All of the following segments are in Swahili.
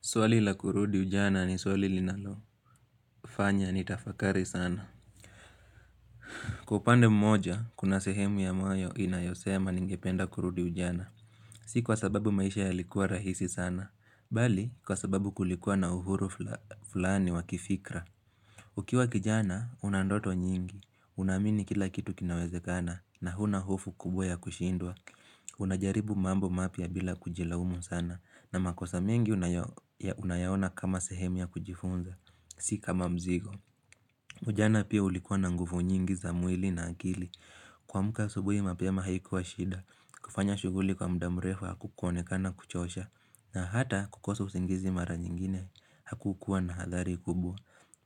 Swali la kurudi ujana ni swali linalo fanya ni tafakari sana Kwaupande mmoja, kuna sehemu ya moyo inayosema ningependa kurudi ujana Si kwa sababu maisha ya likuwa rahisi sana Bali, kwa sababu kulikuwa na uhuru fulani wakifikra Ukiwa kijana, unandoto nyingi Unaamini kila kitu kinawezekana Nahuna hofu kubwa ya kushindwa Unajaribu mambo mapia bila kujilaumu sana na makosa mingi unayaona kama sehemu ya kujifunza Sikama mzigo. Ujana pia ulikuwa na nguvu nyingi za mwili na akili. Kwaamka asubuhi mapema haikuwa shida. Kufanya shuguli kwa mdamrefu haku konekana kuchosha. Na hata kukoso usingizi mara nyingine haku kukua na hadhari kubwa.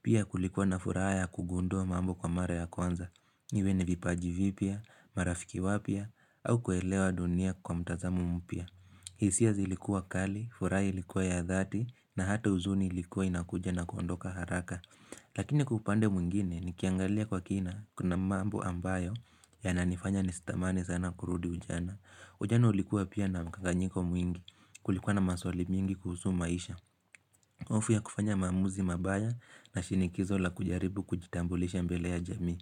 Pia kulikuwa na furaha ya kugundua mambo kwa mara ya kwanza. Iwe ni vipaji vipia, marafiki wapia, au kuelewa dunia kwa mtazamo mpia. Hisia zilikuwa kali, furaha ilikuwa ya dhati na hata uzuni ilikuwa inakuja na kondoka haraka Lakini kwa upande mwingine ni kiangalia kwa kina kuna mambo ambayo ya nanifanya nistamani sana kurudi ujana Ujana ulikuwa pia na mkanganyiko mwingi kulikuwa na maswali mingi kuhusu maisha hofu ya kufanya maamuzi mabaya na shinikizo la kujaribu kujitambulisha mbele ya jamii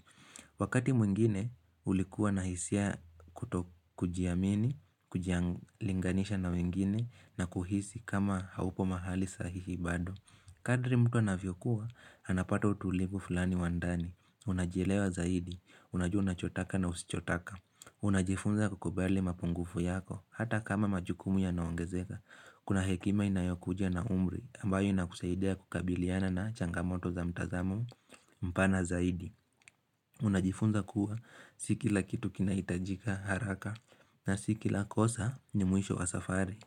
Wakati mwingine ulikuwa na hisia kutokujiamini, kujialinganisha na wengine na kuhisi kama haupo mahali sahihi bado Kadri mtu anavyokuwa, anapato utulipu fulani wandani Unajilewa zaidi, unajua unachotaka na usichotaka Unajifunza kukubali mapungufu yako, hata kama majukumu yanaongezeka Kuna hekima inayokuja na umri, ambayo inakusaidia kukabiliana na changamoto za mtazamo mpana zaidi Unajifunza kuwa sikila kitu kinaitajika haraka na sikila kosa ni mwisho wa safari.